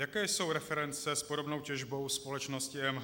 Jaké jsou reference s podobnou těžbou společnosti EMH?